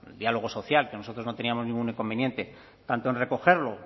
diálogo social que nosotros no teníamos ningún inconveniente tanto en recogerlo